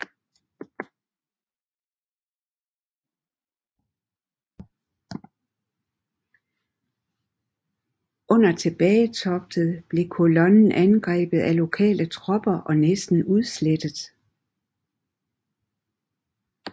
Under tilbagetoget blev kolonnen angrebet af lokale tropper og næsten udslettet